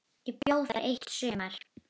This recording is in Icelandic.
Ég bjó þar eitt sumar.